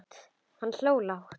Hann hló lágt.